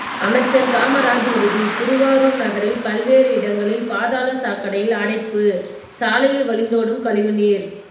அமைச்சர் காமராஜ் உறுதி திருவாரூர் நகரில் பல்வேறு இடங்களில் பாதாள சாக்கடையில் அடைப்பு சாலையில் வழிந்தோடும் கழிவுநீர்